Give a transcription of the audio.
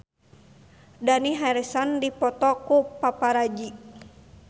Dani Harrison dipoto ku paparazi